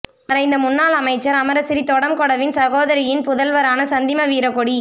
மறைந்த முன்னாள் அமைச்சர் அமரசிறி தொடம்கொடவின் சகோதரியின் புதல்வரான சந்திம வீரக்கொடி